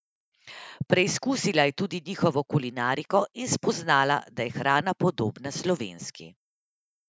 Preizkusila je tudi njihovo kulinariko in spoznala, da je hrana podobna slovenski.